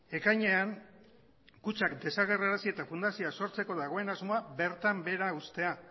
ekainean kutxak desagerrarazi eta fundazioa sortzeko dagoen asmoa bertan behera uztea